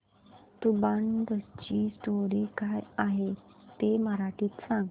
तुंबाडची स्टोरी काय आहे ते मराठीत सांग